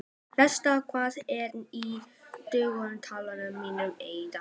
Estel, hvað er í dagatalinu mínu í dag?